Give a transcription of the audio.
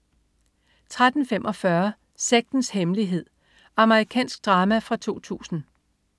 13.45 Sektens hemmelighed. Amerikansk drama fra 2000